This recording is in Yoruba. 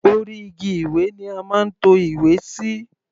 Orí igi ìwé ni a máa ń to ìwé sí.